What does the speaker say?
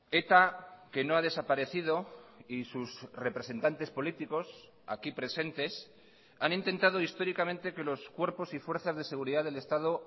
eta que no ha desaparecido y sus representantes políticos aquí presentes han intentado históricamente que los cuerpos y fuerzas de seguridad del estado